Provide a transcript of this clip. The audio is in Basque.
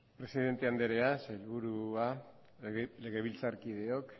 presidente anderea sailburua legebiltzarkideok